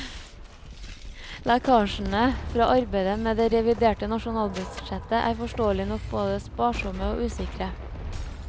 Lekkasjene fra arbeidet med det reviderte nasjonalbudsjett er forståelig nok både sparsomme og usikre.